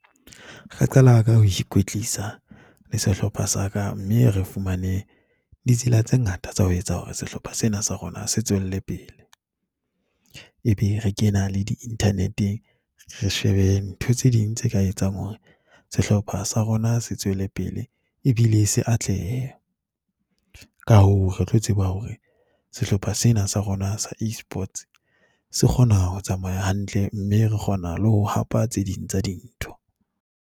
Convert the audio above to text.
Re qala ka ho ikwetlisa le sehlopha sa ka, mme re fumane ditsela tse ngata tsa ho etsa hore sehlopha sena sa rona se tswelle pele. Ebe re ke ena le di-internet-eng, re shebe ntho tse ding tse ka etsang hore sehlopha sa rona se tswele pele ebile se atlehe. Ka hoo, re tlo tseba hore sehlopha sena sa rona sa Esports se kgona ho tsamaya hantle mme re kgona le ho hapa tse ding tsa dintho.